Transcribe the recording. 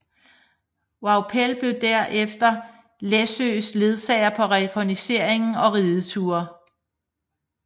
Vaupell blev derefter Læssøes ledsager på rekognosceringer og rideture